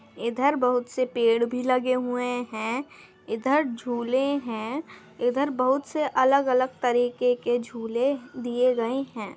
इधर बहुत से पेड़ भी लगे हुए हैं इधर झूले हैं इधर बहुत से अलग-अलग तरीके के झूले दिए गए हैं।